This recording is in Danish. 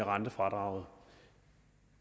rentefradraget